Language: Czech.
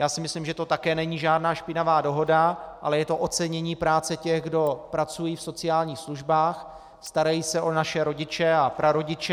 Já si myslím, že to také není žádná špinavá dohoda, ale je to ocenění práce těch, kdo pracují v sociálních službách, starají se o naše rodiče a prarodiče.